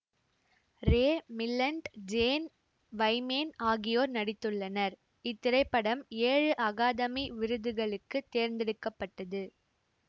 ரே Milland Jane Wyman ஆகியோர் நடித்துள்ளனர் இத்திரைப்படம் ஏழு அகாதமி விருதுகளுக்கு தேர்ந்தெடுக்க பட்டது